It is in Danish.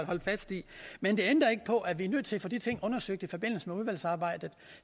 holde fast i men det ændrer ikke på er vi er nødt til at få de ting undersøgt i forbindelse med udvalgsarbejdet